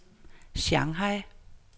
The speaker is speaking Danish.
Shanghai